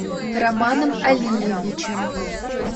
романом алиевичем